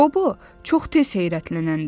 Qobu çox tez heyrətlənəndi.